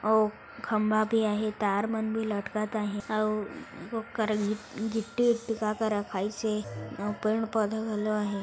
अऊ खंभा भी आहि तार मन भी लटकत आहि अऊ ओ करा गिट्टी उत्ती का का रखाइसे यहाँ पेड़ पौधा घलो आहि।